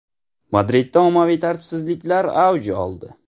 Madridda ommaviy tartibsizliklar avj oldi.